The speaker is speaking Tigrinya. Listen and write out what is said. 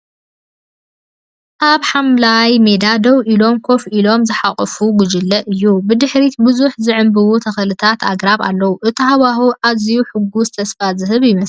ኣብ ሓምላይ ሜዳ ደው ኢሎምን ኮፍ ኢሎምን ዝሓቖፈ ጉጅለ እዩ። ብድሕሪት ብዙሓት ዝዕምብቡ ተኽልታትን ኣግራብን ኣለዉ። እቲ ሃዋህው ኣዝዩ ሕጉስን ተስፋ ዝህብን ይመስል።